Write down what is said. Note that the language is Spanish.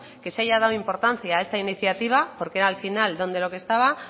que se haya dado importancia a esta iniciativa porque al final donde lo que estaba